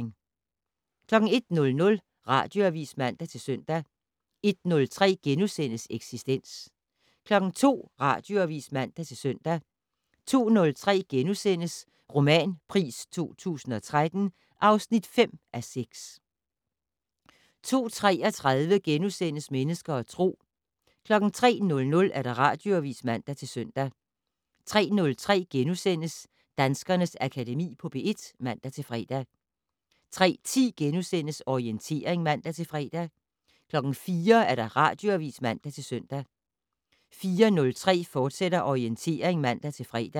01:00: Radioavis (man-søn) 01:03: Eksistens * 02:00: Radioavis (man-søn) 02:03: Romanpris 2013 (5:6)* 02:33: Mennesker og Tro * 03:00: Radioavis (man-søn) 03:03: Danskernes Akademi på P1 *(man-fre) 03:10: Orientering *(man-fre) 04:00: Radioavis (man-søn) 04:03: Orientering, fortsat (man-fre)